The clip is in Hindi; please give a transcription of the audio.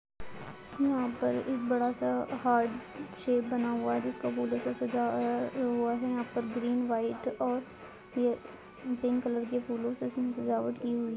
यहाँ पर एक बड़ासा हार्ट शैप बना हुआ है जिसको फूलों से सजा अ हुआ है और यहाँ पर ग्रीन व्हाइट और यह पिंक कलर की फूलों से इसमे सजावट की हुई है।